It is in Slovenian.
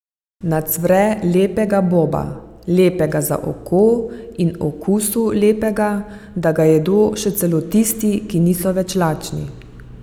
Nacvre lepega boba, lepega za oko in okusu lepega, da ga jedo še celo tisti, ki niso več lačni.